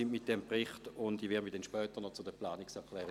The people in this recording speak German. Zu den Planungserklärungen werde ich mich später noch äussern.